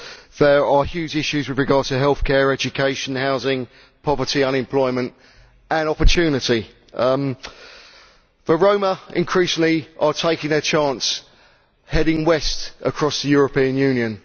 There are huge issues with regard to healthcare, education, housing, poverty, unemployment and opportunity. The Roma are increasingly taking their chance, and heading west across the European Union.